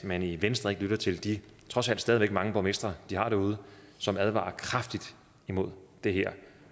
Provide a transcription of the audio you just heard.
man i venstre ikke lytter til de trods alt stadig væk mange borgmestre de har derude som advarer kraftigt imod det her